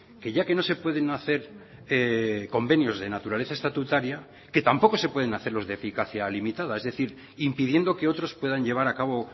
que ya que no se pueden hacer convenios de naturaleza estatutaria que tampoco se pueden hacer los de eficacia limitada es decir impidiendo que otros puedan llevar a cabo